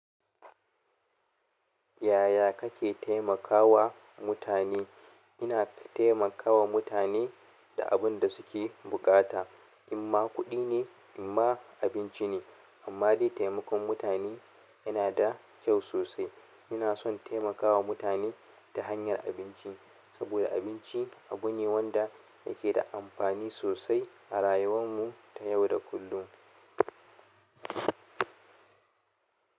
Yaya kake taimakawa mutane? Ina taimakawa mutane da abin da suke buƙata, imma kuɗi ne, imma abinci ne, imma dai taimakon mutane yana da kyau sosai. Ina son taimakawa mutane ta hanyar abinci, saboda abinci abu ne wanda yake da amfani sosai a rayuwar mu ta yau da kullun.